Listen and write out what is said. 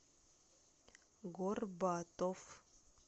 горбатов